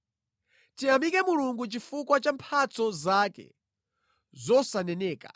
Tiyamike Mulungu chifukwa cha mphatso zake zosaneneka!